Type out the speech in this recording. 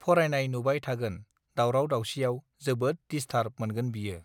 फरायनाय नुबाय थागोन दावराव दावसिआव जोबोद दिसथारब मोनगोन बियो